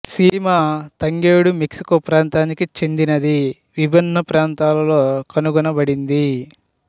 సీమ తంగేడు మెక్సికో ప్రాంతానికి చెందినది విభిన్న ప్రాంతాలలో కనుగొనబడింది